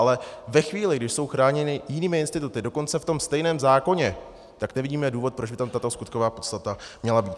Ale ve chvíli, kdy jsou chráněni jinými instituty, dokonce v tom stejném zákoně, tak nevidíme důvod, proč by tam tato skutková podstata měla být.